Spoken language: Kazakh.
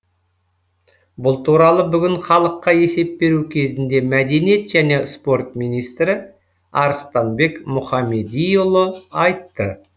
бұл туралы бүгін халыққа есеп беру кезінде мәдениет және спорт министрі арыстанбек мұхамедиұлы айтты